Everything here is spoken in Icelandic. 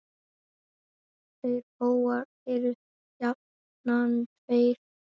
Þeir bógar eru jafnan tveir.